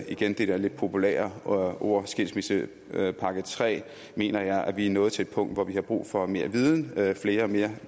igen det der lidt populære ord skilsmissepakke tre mener jeg at vi er nået til et punkt hvor vi har brug for mere viden flere og mere